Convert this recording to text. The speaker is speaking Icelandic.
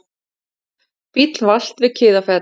Bíll valt við Kiðafell